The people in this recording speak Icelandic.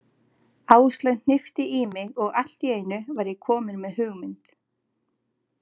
Áslaug hnippti í mig og allt í einu var ég kominn með hugmynd.